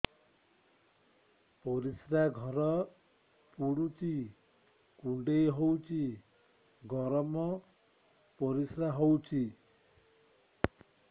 ପରିସ୍ରା ଘର ପୁଡୁଚି କୁଣ୍ଡେଇ ହଉଚି ଗରମ ପରିସ୍ରା ହଉଚି